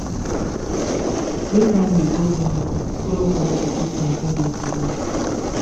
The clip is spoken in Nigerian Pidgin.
make family go clinic to follow collect de treatment wey de to do.